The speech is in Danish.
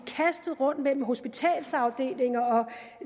kastet rundt mellem hospitalsafdelinger